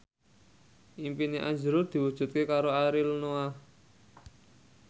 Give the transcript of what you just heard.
impine azrul diwujudke karo Ariel Noah